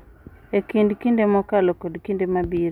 E kind kinde mokalo kod kinde mabiro,